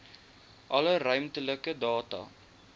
alle ruimtelike data